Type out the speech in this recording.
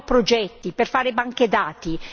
ci vogliono progetti per fare banche dati.